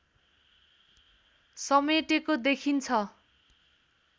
समेटेको देखिन्छ